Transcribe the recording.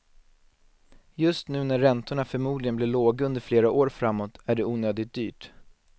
Just nu när räntorna förmodligen blir låga under flera år framåt är det onödigt dyrt.